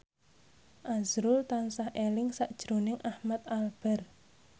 azrul tansah eling sakjroning Ahmad Albar